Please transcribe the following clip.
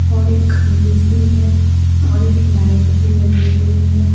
और एक खंबे सी है और एक लाइट भी लगी हुई है।